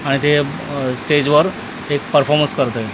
आणि ते अ स्टेजवर एक परफॉर्मन्स करतोय.